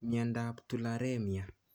Miondap tularemia